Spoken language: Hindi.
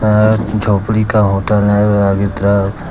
और झोपड़ी का होटल है आगे तरफ।